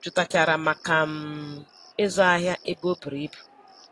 jụtachara maka um ịzụ ahịa ebe o buru ibu.